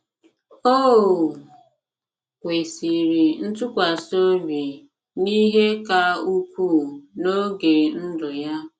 O kwesịrị ntụkwasị obi n’ihe ka ukwuu n’oge ndụ ya.